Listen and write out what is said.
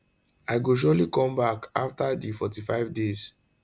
i go surely come back afta di 45 days